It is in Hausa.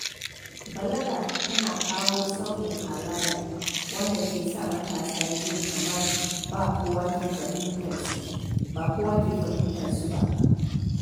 Balaga tana kawo sauyin halayya, wanda ke sa matasa jin kamar ba kowa ke fahimtar su ba.